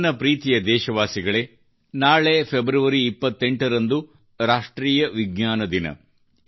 ನನ್ನ ಪ್ರೀತಿಯ ದೇಶವಾಸಿಗಳೇ ನಾಳೆ ಫೆಬ್ರವರಿ 28 ರಂದು ಅಂತಾರಾಷ್ಟ್ರೀಯ ವಿಜ್ಞಾನ ದಿನ